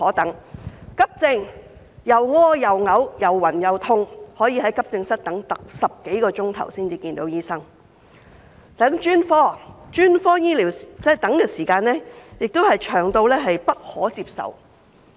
等急症，上吐下瀉、又暈又痛的病人要在急症室等候10多小時才見到醫生；等專科，專科醫療的等候時間同樣長得不可接受。